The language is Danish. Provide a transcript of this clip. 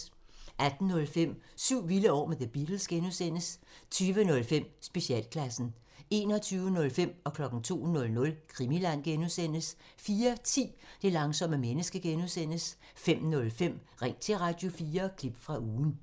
18:05: Syv vilde år med The Beatles (G) 20:05: Specialklassen 21:05: Krimiland (G) 02:00: Krimiland (G) 04:10: Det langsomme menneske (G) 05:05: Ring til Radio4 – klip fra ugen